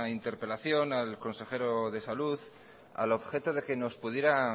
interpelación al consejero de salud al objeto de que nos pudiera